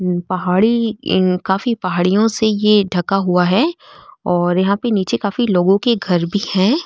पहाड़ी काफी पहाड़ियों से ये ढका हुआ है और यहाँ पे निचे काफी लोगो के घर भी है।